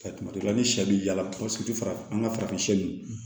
kuma dɔ la ni sɛ bɛ ja tɛ fara an ka farafin